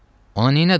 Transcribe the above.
Ona nədin?